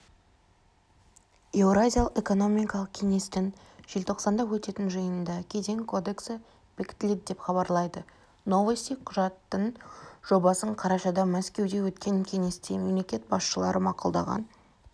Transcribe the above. еуразиялық экономикалық кеңестің желтоқсанда өтетін жиынында кеден кодексі бекітіледі деп хабарлайды новости құжаттың жобасын қарашада мәскеуде өткен кеңесте мемлекет басшылары мақұлдаған